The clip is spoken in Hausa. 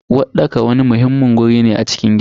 Uwarɗaka wani muhimmin waje ne a cikin gida.